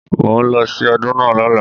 Màá lọ sí Ọdún náà lọ́la.